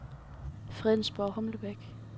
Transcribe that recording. Fredensborg-Humlebæk